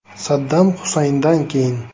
Saddam Husayndan keyin.